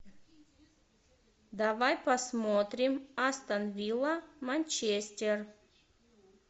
давай посмотрим астон вилла манчестер